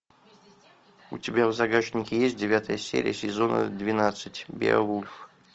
у тебя в загашнике есть девятая серия сезона двенадцать беовульф